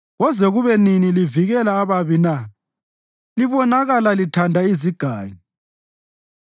“Koze kube nini livikela ababi na libonakala lithanda izigangi?